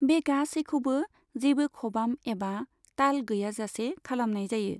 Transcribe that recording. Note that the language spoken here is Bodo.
बे गासैखौबो जेबो खबाम एबा ताल गैयाजासे खालामनाय जायो।